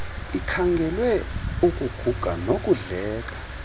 ikhangelwe ukuguga nokudleka